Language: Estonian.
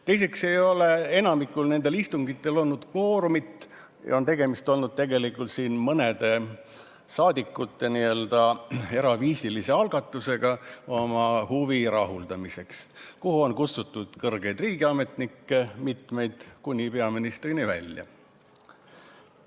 Teiseks ei ole enamikul nendel istungitel olnud kvoorumit ja tegelikult on tegemist olnud mõne rahvasaadiku n-ö eraviisilise algatusega oma huvi rahuldamiseks, kuhu on kohale kutsutud mitmeid kõrgeid riigiametnikke kuni peaministrini välja.